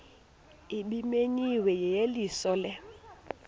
ebimenyiwe yeyeliso lo